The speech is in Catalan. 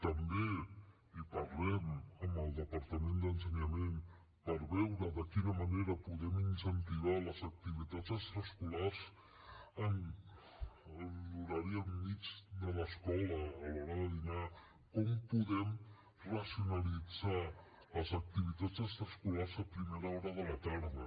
també parlem amb el departament d’ensenyament per veure de quina manera podem incentivar les activitats extraescolars en l’horari al mig de l’escola a l’hora de dinar com podem racionalitzar les activitats extraescolars a primera hora de la tarda